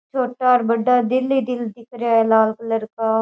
छोटा और बड्ढा दिल ही दिल दिख रेहा है लाल कलर का।